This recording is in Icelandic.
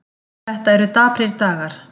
Þetta eru daprir dagar